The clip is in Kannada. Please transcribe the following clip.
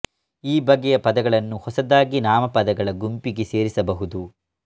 ಈ ಬಗೆಯ ಪದಗಳನ್ನು ಹೊಸದಾಗಿ ನಾಮಪದಗಳ ಗುಂಪಿಗೆ ಸೇರಿಸ ಬಹುದು